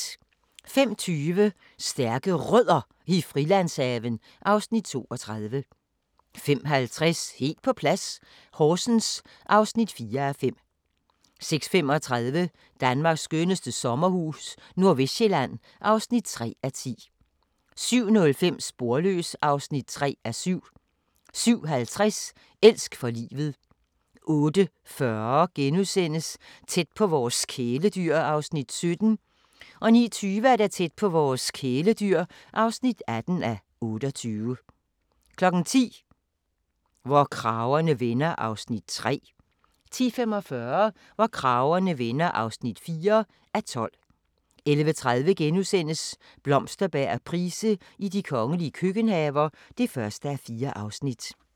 05:20: Stærke Rødder i Frilandshaven (Afs. 32) 05:50: Helt på plads - Horsens (4:5) 06:35: Danmarks skønneste sommerhus - Nordvestsjælland (3:10) 07:05: Sporløs (3:7) 07:50: Elsk for livet 08:40: Tæt på vores kæledyr (17:28)* 09:20: Tæt på vores kæledyr (18:28) 10:00: Hvor kragerne vender (3:12) 10:45: Hvor kragerne vender (4:12) 11:30: Blomsterberg og Price i de kongelige køkkenhaver (1:4)*